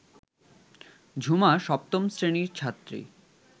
ঝুমা সপ্তম শ্রেণীর ছাত্রী